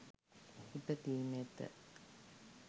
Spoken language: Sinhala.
ඉපදීම ඇත.